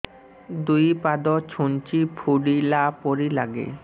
ଦୁଇ ପାଦ ଛୁଞ୍ଚି ଫୁଡିଲା ପରି ଲାଗେ